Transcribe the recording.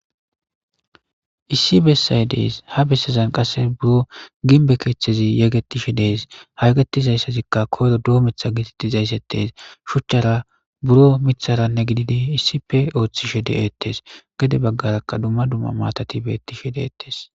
Issi bessay dees ha bessezan qasse buro ginbe keeththezi yegetishe dees hayegetizayssazikka koyro doo mitha gitittizayssettees shuchchara buro mitharanne gididi issipe ooththishe de7eettes gade baggarakka dumma dumma maatati betishe deettes.